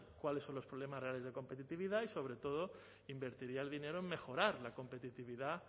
cuáles son los problemas reales de competitividad y sobre todo invertiría el dinero en mejorar la competitividad